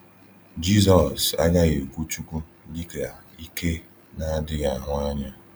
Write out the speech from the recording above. Jizọs agaghị ekwu Chukwu dịka ike na-adịghị ahụ anya.